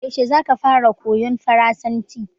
Yaushe zaka fara koyan farasanci?